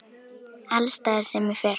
Alls staðar sem ég fer.